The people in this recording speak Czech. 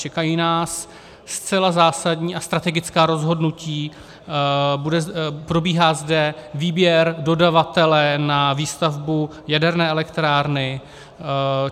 Čekají nás zcela zásadní a strategická rozhodnutí, probíhá zde výběr dodavatele na výstavbu jaderné elektrárny.